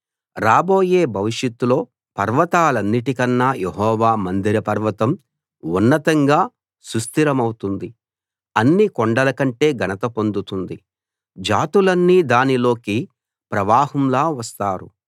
రాబోయే భవిష్యత్తులో పర్వతాలన్నిటికన్నా యెహోవా మందిర పర్వతం ఉన్నతంగా సుస్థిరమౌతుంది అన్ని కొండల కంటే ఘనత పొందుతుంది జాతులన్నీ దానిలోకి ప్రవాహంలా వస్తారు